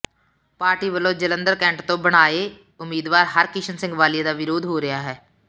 party ਵੱਲੋਂ Jalandhar cantt ਤੋਂ ਬਣਾਏ ਉਮੀਦਵਾਰ ਹਰਕਿਸ਼ਨ ਸਿੰਘ ਵਾਲੀਆ ਦਾ ਵਿਰੋਧ ਹੋ ਰਿਹਾ ਹੈ